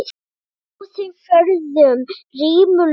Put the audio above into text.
Þjóðin forðum rímur las.